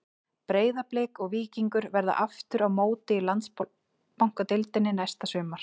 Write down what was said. Breiðablik og Víkingur verða aftur á móti í Landsbankadeildinni næsta sumar.